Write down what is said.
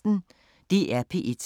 DR P1